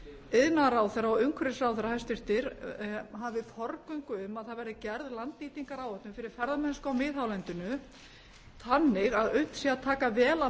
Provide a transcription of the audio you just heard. iðnaðarráðherra og umhverfisráðherra hæstvirtir hafi forgöngu um að það verði gerð landnýtingaráætlun fyrir ferðamennsku á miðhálendinu þannig að unnt sé að taka vel á